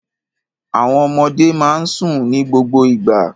Àwọn ọmọdé máa ń sùn ní gbogbo ìgbà.